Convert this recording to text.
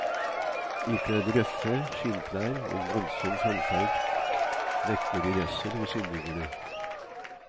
Ikledd røffe skinnklær og voldsom framferd vekker de redsel hos innbyggerne.